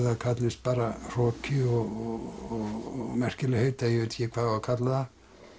það kallist bara hroki og merkilegheit eða ég veit ekki hvað á að kalla það